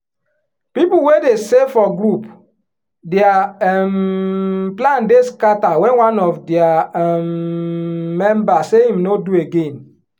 people wey dey save for group their um plan dey scatter wen one of theiir um member say him no do again.